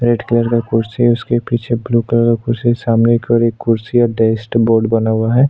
Red colour का कुर्सी है उसके पीछे ब्लू कलर का कुर्सी है सामने एक कुर्सी है बना हुआ है।